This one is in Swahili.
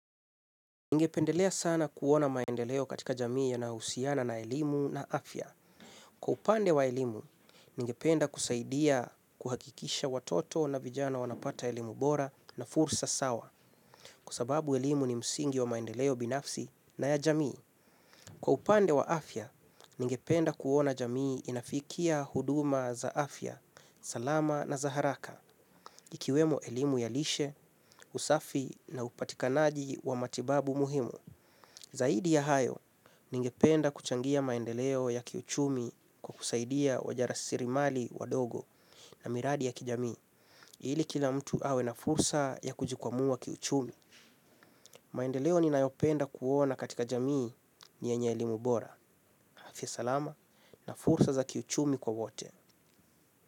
Ningependelea sana kuona maendeleo katika jamii yanausiana na elimu na afya. Kwa upande wa elimu, ningependa kusaidia kuhakikisha watoto na vijana wanapata elimu bora na fursa sawa kusababu elimu ni msingi wa maendeleo binafsi na ya jamii. Kwa upande wa afya, ningependa kuona jamii inafikia huduma za afya, salama na za haraka ikiwemo elimu ya lishe, usafi na upatikanaji wa matibabu muhimu. Zaidi ya hayo, ningependa kuchangia maendeleo ya kiuchumi kwa kusaidia wajara sirimali wadogo na miradi ya kijamii. Ili kila mtu awe na fursa ya kujikwamua kiuchumi. Maendeleo ninayopenda kuona katika jamii ni enye elimu bora. Hafiz salama na fursa za kiuchumi kwa wote.